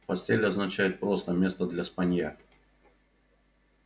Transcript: постель означает просто место для спанья